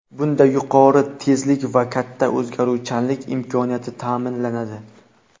Bunda yuqori tezlik va katta o‘tkazuvchanlik imkoniyati ta’minlanadi.